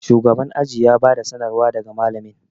shugaban aji ya bada sanarwa daga malamin